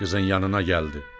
Qızın yanına gəldi.